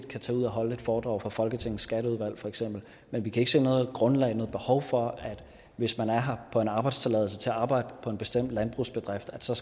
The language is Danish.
kan tage ud og holde et foredrag for folketingets skatteudvalg feks men vi kan ikke se noget grundlag eller behov for at der hvis man er her på en arbejdstilladelse til at arbejde på en bestemt landbrugsbedrift så